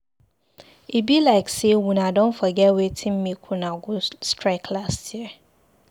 E be like sey una don forget wetin make una go strike last year.